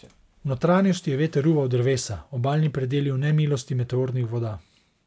V notranjosti je veter ruval drevesa, obalni predeli v nemilosti meteornih voda.